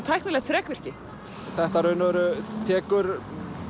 tæknilegt þrekvirki þetta í rauninni tekur